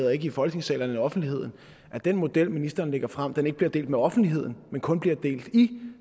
og ikke i folketingssalen offentligheden at den model ministeren lægger frem ikke bliver delt med offentligheden men kun bliver delt i